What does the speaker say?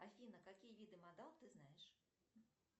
афина какие виды модал ты знаешь